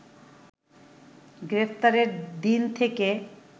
গ্রেপ্তারের দিন থেকে